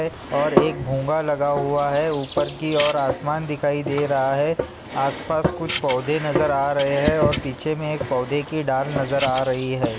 और एक भोंगा लगा हुआ है ऊपर की और आसमान दिखाई दे रहा है आस-पास कुछ पौधे नजर आ रहे है और पीछे मे एक पौधे की डाल नजर आ रही है।